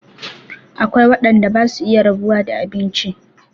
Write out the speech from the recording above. Akwai waɗanda basu iya rabuwa da abinci